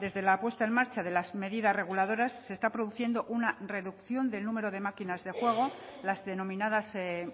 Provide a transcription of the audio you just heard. desde la puesta en marcha de las medidas reguladoras se está produciendo una reducción del número de máquinas de juego las denominadas